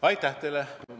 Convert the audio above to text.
Aitäh teile!